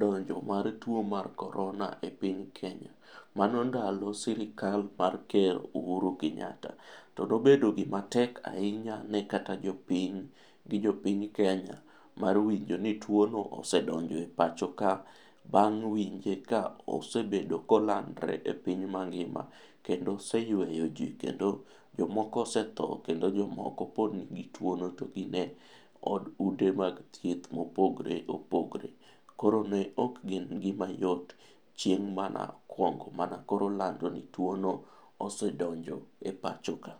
donjo mar tuo mar Korona e piny Kenya. Mano ndalo sirkal mar Ker Uhuru Kenyatta. To nobedo gimatek ahinya ne kata jopiny gi jopiny Kenya mar winjo ni tuo no osedonjo e pacho ka bang' winje ka osebedo kolandore e piny mangima. Kendo oseyueyo ji kendo jomoko osetho kendo jomoko pod nigi tuo no to gin e od ute mag thieth mopogore opogore. Koro ne ok ngima yot chieng' mana kuongo mana koro olando ni tuo no osedonjo e pacho ka.